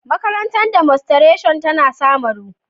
Makarantar Demostration tana samaru.